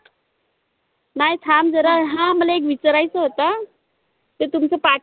नई थांब झरा आह मला एक विचारायचं होत. ते तुमचं पाठ